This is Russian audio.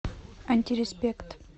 антиреспект